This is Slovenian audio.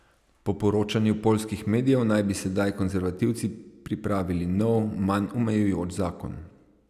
Po poročanju poljskih medijev naj bi sedaj konservativci pripravili nov, manj omejujoč zakon.